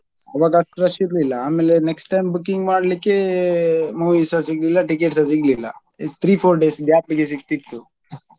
ಆವಾಗ ಅಷ್ಟು rush ಇರ್ಲಿಲ್ಲ ಆಮೇಲೆ next time booking ಮಾಡ್ಲಿಕ್ಕೆ movie ಸ ಸಿಗ್ಲಿಲ್ಲ ticket ಸ ಸಿಗ್ಲಿಲ್ಲ three four days gap ಗೆ ಸಿಕ್ತಿತ್ತು.